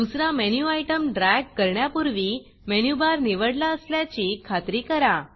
दुसरा menu item drag करण्यापूर्वी menu bar निवडला असल्याची खात्री करा